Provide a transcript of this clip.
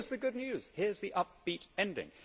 Here is the good news here is the upbeat ending.